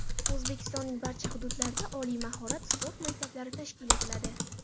O‘zbekistonning barcha hududlarida oliy mahorat sport maktablari tashkil etiladi.